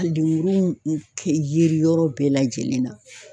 A lemuruw kɛ yeri yɔrɔ bɛɛ lajɛlen na